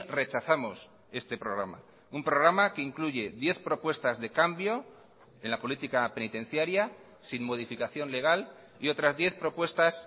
rechazamos este programa un programa que incluye diez propuestas de cambio en la política penitenciaria sin modificación legal y otras diez propuestas